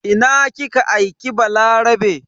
Ina kika aike Balarabe?